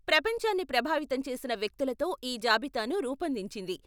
ప్రపంచాన్ని ప్రభావితం చేసిన వ్యక్తులతో ఈ జాబితాను రూపొందించింది.